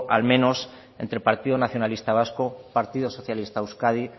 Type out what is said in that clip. al menos entre partido nacionalista vasco partido socialista de euskadi